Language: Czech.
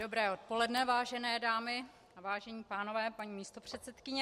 Dobré odpoledne, vážené dámy a vážení pánové, paní místopředsedkyně.